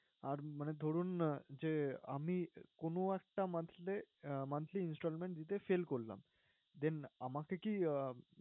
আর মানে ধরুন যে আমি কোনো একটা month এ monthly intstallment দিতে fail করলাম, then আমাকে কি